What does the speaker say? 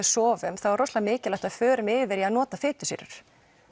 sofum þá er rosalega mikilvægt að við förum yfir í að nota fitusýrur